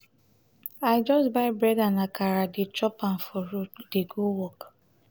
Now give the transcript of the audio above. i just buy bread and akara dey chop am for road dey go work.